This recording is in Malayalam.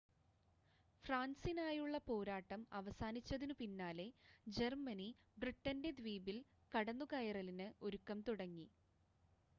ഫ്രാൻസിനായുള്ള പോരാട്ടം അവസാനിച്ചതിനു പിന്നാലെ ജർമ്മനി ബ്രിട്ടൻ്റെ ദ്വീപിൽ കടന്നുകയറലിന് ഒരുക്കം തുടങ്ങി